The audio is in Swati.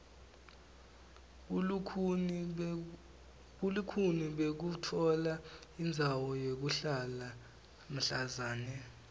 bulukhuni bekutfola indzawo yekuhlala mhlazana